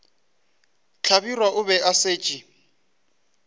hlabirwa o be a šetše